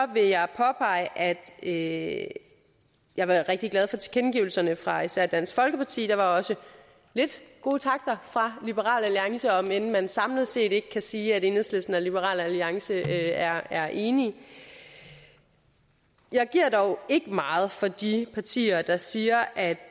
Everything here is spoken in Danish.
vil jeg påpege at jeg var rigtig glad for tilkendegivelserne fra især dansk folkeparti der var også lidt gode takter fra liberal alliance om end man samlet set ikke kan sige at enhedslisten og liberal alliance er er enige jeg giver dog ikke meget for de partier der siger at